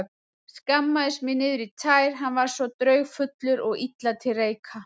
Skammaðist mín niður í tær, hann var svo draugfullur og illa til reika.